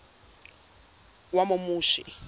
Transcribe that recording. wamomushi